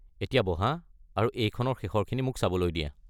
এতিয়া বহা আৰু এইখনৰ শেষৰখিনি মোক চাবলৈ দিয়া।